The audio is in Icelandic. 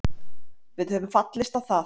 Við höfum fallist á það.